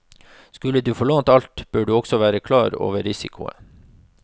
Skulle du få lånt alt, bør du også være klar over risikoen.